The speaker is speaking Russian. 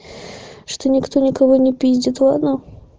что никто никого не пиздит ладно